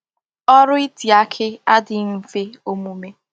Órú it aki adighi nfe omume.